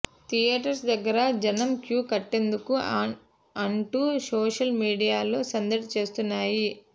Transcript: theatres దగ్గర జనం queue కట్టేందుకు అంటూ సోషల్ మీడియాలో సందడి చేస్తున్నారు